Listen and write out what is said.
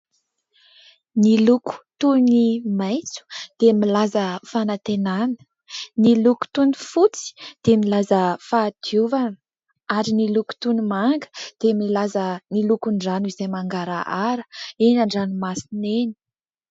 Ny loko toy ny maitso dia milaza fanantenana ; ny loko toy ny fotsy dia milaza fahadiovana ; ary ny loko toy ny manga dia milaza ny lokon'ny rano, izay mangarahara eny an-dranomasina eny.